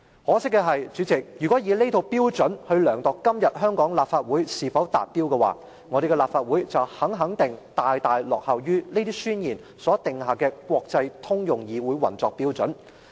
可惜的是，主席，如果以這套標準來量度今天香港的立法會是否達標的話，我們的立法會肯定大大落後於這些宣言所訂下的國際通用的議會運作標準。